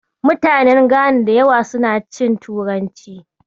Mutanen Gana da yawa suna cin turanci.